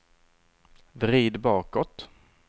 vrid bakåt